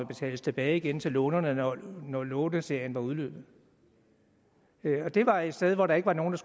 betales tilbage igen til lånerne når når låneserien var udløbet det var et sted hvor der ikke var nogen